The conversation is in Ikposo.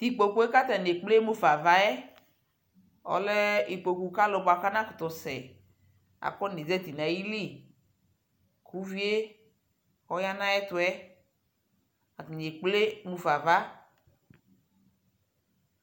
Tʋ ikpokue kʋ atani ekple mufa ava yɛ ɔlɛ ikpoku ka alʋ bua mʋ anakutu sɛafɔnezati nʋ ayʋ lι kʋ uvie ɔya nʋ ayʋɛtu yɛ atani ekple mufa ava